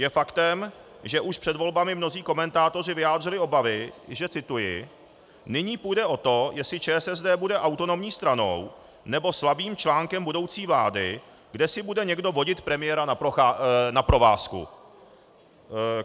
Je faktem, že už před volbami mnozí komentátoři vyjádřili obavy, že - cituji: "Nyní půjde o to, jestli ČSSD bude autonomní stranou, nebo slabým článkem budoucí vlády, kde si bude někdo vodit premiéra na provázku."